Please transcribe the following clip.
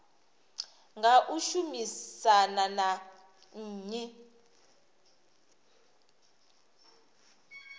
nga u shumisana na nnyi